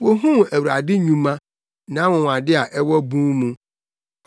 Wohuu Awurade nnwuma, nʼanwonwade a ɛwɔ bun mu.